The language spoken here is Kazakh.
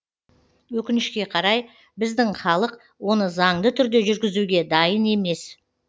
өкінішке қарай біздің халық оны заңды түрде жүргізуге дайын емес